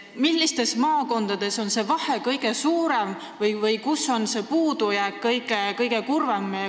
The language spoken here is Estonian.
Millistes maakondades on see vahe või puudujääk kõige suurem?